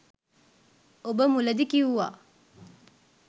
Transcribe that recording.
ඔබ මුලදි කිව්වා